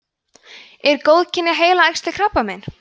eru góðkynja heilaæxli krabbamein